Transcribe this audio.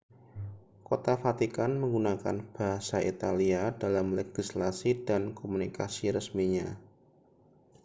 kota vatikan menggunakan bahasa italia dalam legislasi dan komunikasi resminya